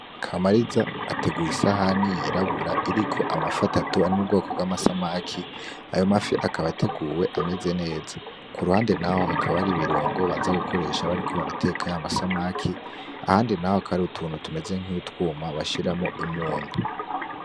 Kamariza ateguye isahani y'irabura iriko amafi atatu yomubwoko bw'amasamake ayo mafi akaba ateguwe ameze neza, Kuruhande naho hakaba hari ibirungo baza gukoresha bariko barateka y'amasamake ahandi naho hakaba hari utuntu tumeze nk'utwuma bashiramwo umunyu.